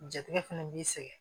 Jatigɛ fɛnɛ b'i sɛgɛn